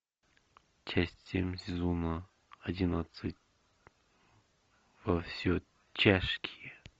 часть семь сезона одиннадцать во все тяжкие